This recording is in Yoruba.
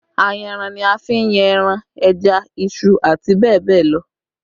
Ayanran ni a fi n yan ẹran, ẹja, iṣu àti bẹ́ẹ̀ bẹ́ẹ̀ lọ